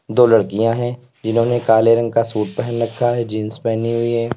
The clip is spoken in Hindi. दो लडकियाँ हैं जिन्होंने काले रंग का सूट पहन रखा है जीन्स पहनी हुई है।